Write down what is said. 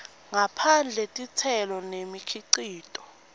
ngaphandle titselo nemikhicito